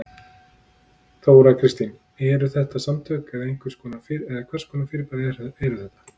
Þóra Kristín: Eru þetta samtök eða hvers konar fyrirbæri er þetta?